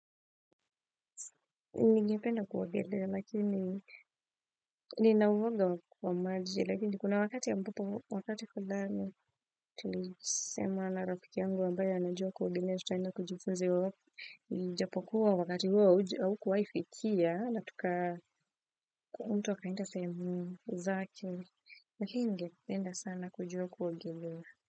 Ni ngependa kuogelea lakini ninauoga kwa maji lakini kuna wakati yambapo wakati fuani tulisema na rafiki yangu ambaya anajua kuogilea tuta enda kujifunzi iwapo ijapokuwa wakati huwo huwo kuwaifikia na tukaa mtu akaenda sehemu zake lakini ningependa sana kujua kuogelea.